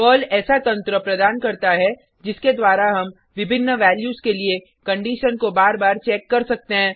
Perl ऐसा तंत्र प्रदान करता है जिसके द्वारा हम विभिन्न वैल्यूज के लिए कंडिशन को बार बार चेक कर सकते हैं